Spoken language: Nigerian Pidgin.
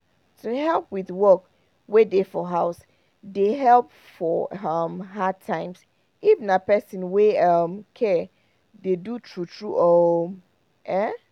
to help with work wey dey for house dey help for um hard times if na person wey um care dey do true true um ehn